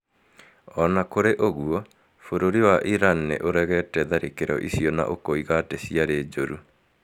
O na kũrĩ ũguo, bũrũri wa Iran nĩ ũregete tharĩkĩro icio na ũkoiga atĩ ciarĩ jũru